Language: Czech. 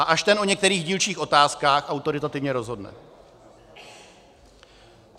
A až ten o některých dílčích otázkách autoritativně rozhodne.